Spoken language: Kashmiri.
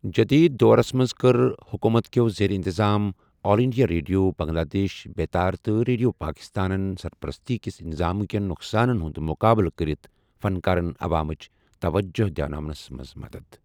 جٔدیٖد دورَس منٛز کٔر حکوٗمت کٮ۪و زیر انتظام all India radio, Bangladesh Betar, تہٕ ریڈیو پاکستانَن سرپرستی کِس نظامہٕ کٮ۪ن نۄقصانَن ہُنٛد مُقابلہٕ کرِتھ فنکارَن عوامٕچ توجہ دِیناونَس منٛز مدد۔